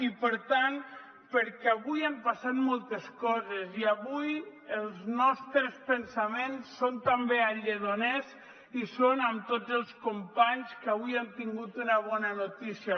i per tant perquè avui han passat moltes coses i avui els nostres pensaments són també a lledoners i són amb tots els companys que han tingut una bona notícia